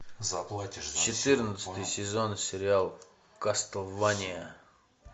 четырнадцатый сезон сериал кастлвания